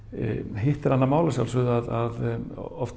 hitt er annað mál að sjálfsögðu að oft